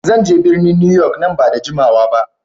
Zan je birnin Newyork nan ba da jimawa ba.